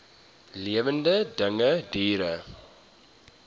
lewende dinge diere